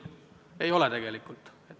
Ei ole tegelikult!